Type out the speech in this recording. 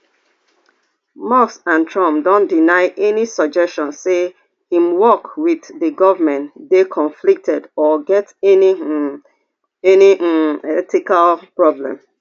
musk and trump don deny any suggestion say im work wit di goment dey conflicted or get any um any um ethical problem